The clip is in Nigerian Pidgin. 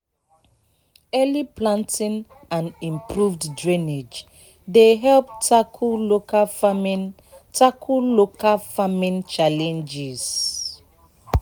early planting and improved drainage dey help tackle local farming tackle local farming challenges."